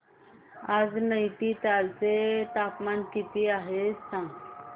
आज नैनीताल चे तापमान किती आहे सांगा